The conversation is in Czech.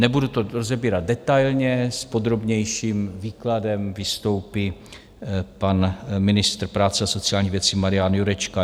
Nebudu to rozebírat detailně, s podrobnějším výkladem vystoupí pan ministr práce a sociálních věcí Marian Jurečka.